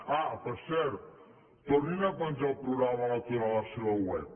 ah per cert tornin a penjar el programa electoral a la seva web